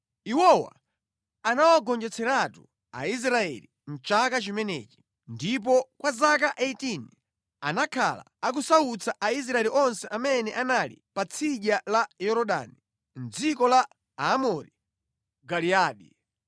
Iwowa anawagonjetseratu Aisraeli mʼchaka chimenechi, ndipo kwa zaka 18 anakhala akusautsa Aisraeli onse amene anali pa tsidya la Yorodani, mʼdziko la Aamori ku Giliyadi.